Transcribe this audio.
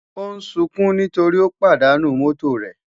Ó ń sunkún nítorí ó pàdánù mọ́tò rẹ̀